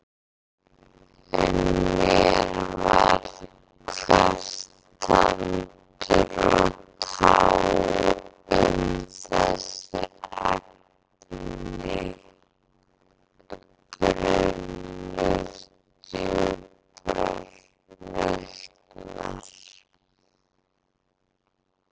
En mér var hvert tandur og tá um þessi efni brunnur djúprar nautnar.